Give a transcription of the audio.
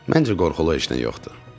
Məncə qorxulu heç nə yoxdur.